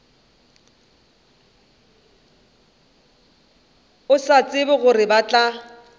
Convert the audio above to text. sa tsebe gore ba tla